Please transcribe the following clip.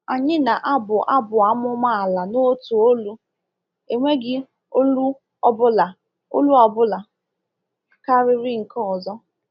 Anyị na-abụ abụ amụma ala n’otu olu—enweghị olu ọ bụla olu ọ bụla karịrị nke ọzọ.